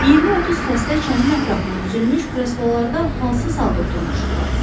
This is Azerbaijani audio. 20-30 xəstə çənin ətrafına düzülmüş kreslolarda halsız halda oturmuşdular.